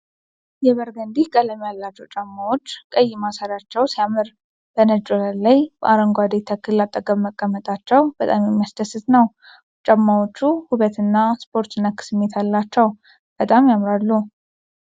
የበርገንዲ ቀለም ያላቸው ጫማዎች ቀይ ማሰሪያቸው ሲያምር! በነጭ ወለል ላይ ከአረንጓዴ ተክል አጠገብ መቀመጣቸው በጣም የሚያስደስት ነው። ጫማዎቹ ውበትና ስፖርት ነክ ስሜት አላቸው። በጣም ያምራሉ!።